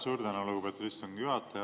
Suur tänu, lugupeetud istungi juhataja!